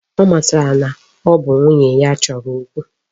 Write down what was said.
Ọ matara na ọ bụ nwunye ya chọrọ okwu.